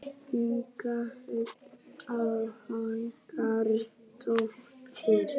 Inga Huld Hákonardóttir.